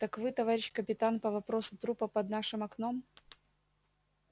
так вы товарищ капитан по вопросу трупа под нашим окном